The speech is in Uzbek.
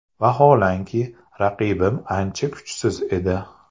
Vaholanki, raqibim ancha kuchsiz edi.